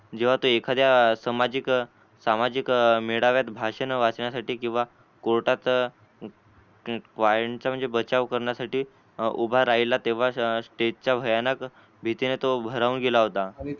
ज्व्ह तो एखाद्या सामाजिक सामाजिक मेळाव्यात भाषण वाचनीय साठी कीवा court त म्हणजे बचाव करण्यासाठी उभा राहिला तेव्हा स्टेज चा भयानक भीतीने तो भारावून गेला होता.